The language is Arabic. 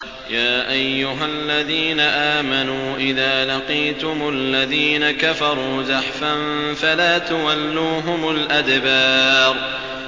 يَا أَيُّهَا الَّذِينَ آمَنُوا إِذَا لَقِيتُمُ الَّذِينَ كَفَرُوا زَحْفًا فَلَا تُوَلُّوهُمُ الْأَدْبَارَ